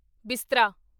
ਬਿਸਤਰਾ